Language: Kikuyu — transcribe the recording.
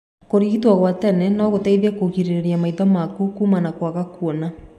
Kũrigito gwa tene no gũteithie kũrigirĩrĩria maitho maku kuma na kwaga kuona.